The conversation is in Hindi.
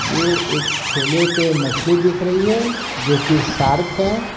एक थेले पे मछली दिख रही है जो कि सार्क है।